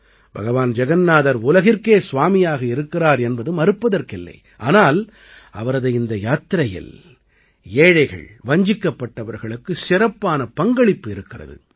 பகவான் ஜகன்னாதர் உலகிற்கே ஸ்வாமியாக இருக்கிறார் என்பது மறுப்பதற்கில்லை ஆனால் அவரது இந்த யாத்திரையில் ஏழைகள் வஞ்சிக்கப்பட்டவர்களுக்கு சிறப்பான பங்களிப்பு இருக்கிறது